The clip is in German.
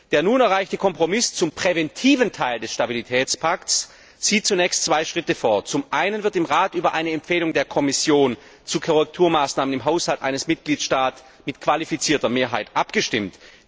Der nun erreichte Kompromiss zum präventiven Teil des Stabilitätspakts sieht zunächst zwei Schritte vor Zum einen wird im Rat über eine Empfehlung der Kommission zu Korrekturmaßnahmen im Haushalt eines Mitgliedstaats mit qualifizierter Mehrheit abgestimmt.